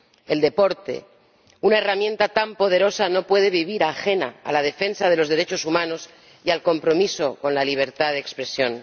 El deporte, una herramienta tan poderosa, no puede vivir ajena a la defensa de los derechos humanos y al compromiso con la libertad de expresión.